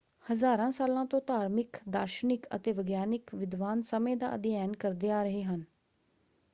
ਹਜ਼ਾਰਾਂ ਸਾਲਾਂ ਤੋਂ ਧਾਰਮਿਕ ਦਾਰਸ਼ਨਿਕ ਅਤੇ ਵਿਗਿਆਨਕ ਵਿਦਵਾਨ ਸਮੇਂ ਦਾ ਅਧਿਐਨ ਕਰਦੇ ਆ ਰਹੇ ਹਨ।